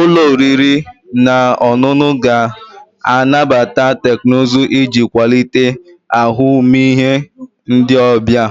Ụlọ oriri na ọṅụṅụ ga-anabata teknụzụ iji kwalite ahụmịhe ndị ọbịa,